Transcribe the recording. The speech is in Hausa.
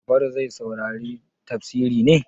Jafaru zai saurari tafsiri ne?